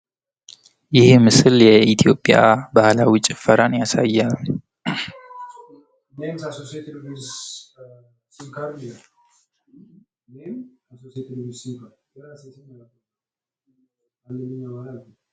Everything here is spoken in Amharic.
ይህ ምስል የኢትዮጵያን ባህላዊ ጭፈራን ያሳያል።